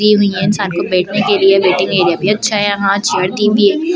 दी हुई हैं इंसान को बैठने के लिए वेटिंग एरिया भी अच्छा है यहां चेयर दी हुई--